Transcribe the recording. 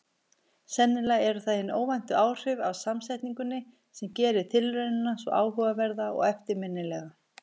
Sennilega eru það hin óvæntu áhrif af samsetningunni sem gerir tilraunina svo áhugaverða og eftirminnilega.